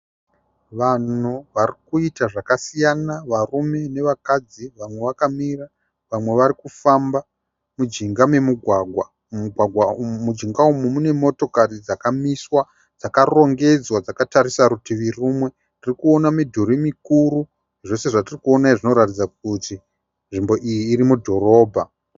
Vanhu vari kuita zvakasiyana varume nevakadzi. Vamwe vakamira vamwe vari kufamba mujinga memugwagwa. Mujinga umu mune motokari dzakamiswa dzakarongedzwa dzakatarisa rutivi rumwe. Tirikuona midhuri mikuru. Zvose zvatirikuona izvi zvinoratidza kuti nzvimbo iyi iri mudhorobha.